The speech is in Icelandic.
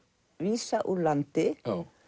vísa úr landi